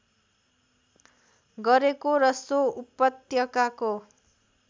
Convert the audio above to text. गरेको र सो उपत्यकाको